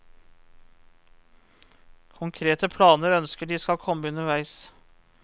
Konkrete planer ønsker de skal komme underveis.